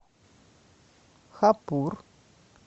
хапур